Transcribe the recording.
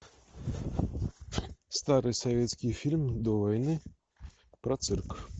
старый советский фильм до войны про цирк